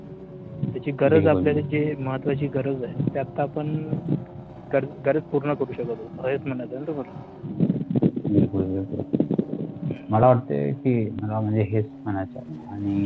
त्याची गरज आपल्याला जे महत्त्वाची गरज आहे ते आता आपण तर गरज पूर्ण करू शकत होतो बिलकुल बिलकुल मला वाटते कि मला हेच म्हणायचं आहे आणि